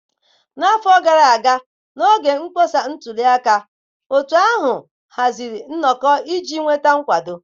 N'afọ gara aga, n'oge mkpọsa ntuli aka, otu ahụ haziri nnọkọ iji nweta nkwado.